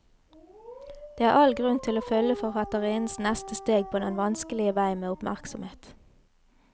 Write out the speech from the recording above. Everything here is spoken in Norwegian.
Det er all grunn til å følge forfatterinnens neste steg på den vanskelige vei med oppmerksomhet.